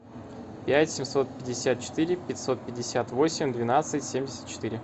пять семьсот пятьдесят четыре пятьсот пятьдесят восемь двенадцать семьдесят четыре